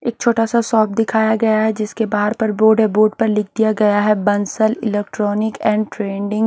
एक छोटा सा सॉप दिखाया गया है जिसके बाहर पर बोर्ड है बॉर्डर पर लिख दिया गया है बंसल इलेक्ट्रॉनिक एंड ट्रेडिंग --